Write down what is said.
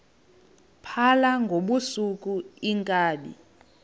phala ngobusuku iinkabi